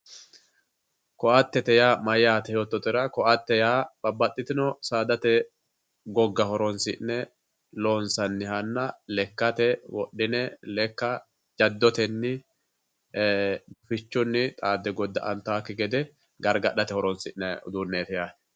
koaatte maati yoottotera ,koaatte yaa saadate gogga horonsi'ne loonsannihanna lekkate wodhi'ne lekka jaddotenni ee utichunni goda'antakki gede gargadhate horonsi'nanni uduunneeti yaate.